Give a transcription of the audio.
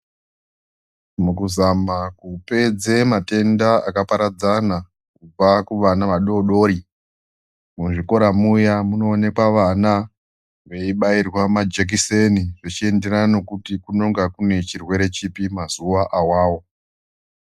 Mukuzama kupedze matenda akaparadzana kubva kuvana vadodori muzvikora muya munoonekwa vana veibairwa majekiseni zvichenderana nekuti kunonga kune chirwere chipi mazuwa awawo.